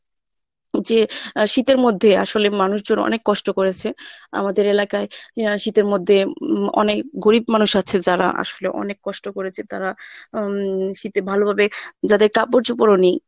যে আহ শীতের মধ্যে আসলে মানুষজন অনেক কষ্ট করেছে। আমদের এলাকায় ইয়া শীতের মধ্যে উম অনেক গরীব মানুষ আছে যারা আসলে অনেক কষ্ট করেছে তারা উম শীতে ভালোভাবে যাদের কাপড়-চোপড়ও নেই